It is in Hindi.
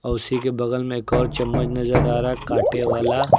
उसी के बगल में एक और चम्मच नजर आ रहा है कांटे वाला।